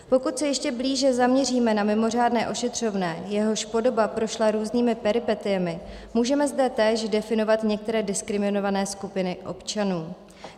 Pokud se ještě blíže zaměříme na mimořádné ošetřovné, jehož podoba prošla různými peripetiemi, můžeme zde též definovat některé diskriminované skupiny občanů.